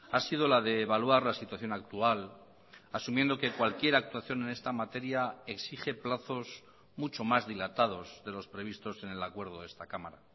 ha sido la de evaluar la situación actual asumiendo que cualquier actuación en esta materia exige plazos mucho más dilatados de los previstos en el acuerdo de esta cámara